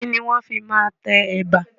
Kìíní wọn fii máa tẹ Ẹ̀bà?